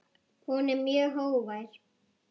Hún er mjög hógvær.